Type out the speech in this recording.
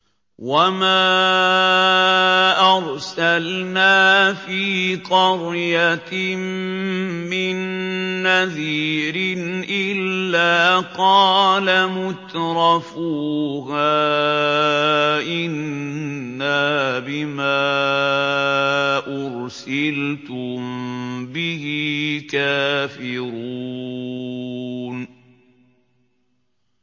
وَمَا أَرْسَلْنَا فِي قَرْيَةٍ مِّن نَّذِيرٍ إِلَّا قَالَ مُتْرَفُوهَا إِنَّا بِمَا أُرْسِلْتُم بِهِ كَافِرُونَ